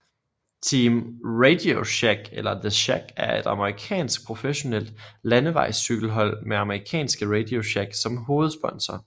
Team RadioShack eller The Shack er et amerikansk professionelt landevejscykelhold med amerikanske RadioShack som hovedsponsor